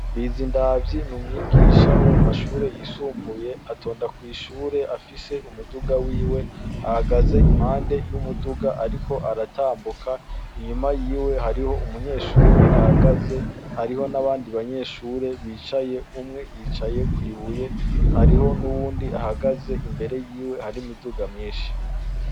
Bizindavyi n'umwigisha wo mum'ashure y'isumbuye atonda kw'ishure afise umuduga wiwe, ahagaze impande y'umuduga ariko aratambuka, inyuma yiwe harih'umunyeshure ahagaze hariho n'abandi banyeshure bicaye ,umwe yicaye kw'ibuye hariho n'uwundi ahagaze imbere yiwe har'imiduga nyinshi.